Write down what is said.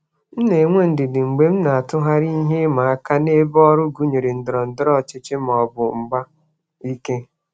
M na-enwe ndidi mgbe m na-atụgharị ihe ịma aka n'ebe ọrụ gụnyere ndọrọ ndọrọ ọchịchị ma ọ bụ mgba ike.